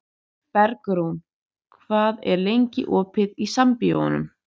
Bergrún, hvað er lengi opið í Sambíóunum?